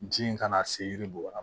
Ji kana se yiri dun ma